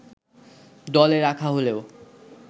দলে রাখা হলেও